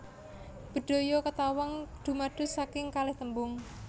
Bedhaya Ketawang dumados saking kalih tembung